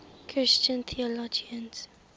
christian theologians